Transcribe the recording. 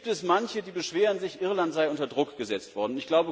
Jetzt gibt es manche, die beschweren sich, Irland sei unter Druck gesetzt worden.